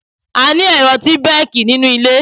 A ní ẹ̀rọ tí bẹ́ẹ̀kì nínú ilé.